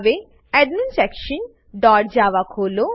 હવે admin section dot Java ખોલો